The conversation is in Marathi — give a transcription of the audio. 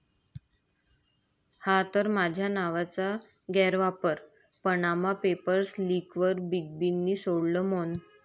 ...हा तर माझ्या नावाचा गैरवापर, पनामा पेपर्स लीकवर बिग बींनी सोडलं मौन